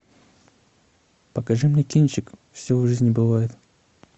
покажи мне кинчик все в жизни бывает